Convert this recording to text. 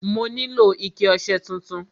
Mo nílò ike ọṣẹ tuntun.